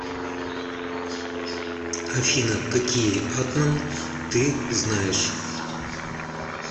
афина какие атман ты знаешь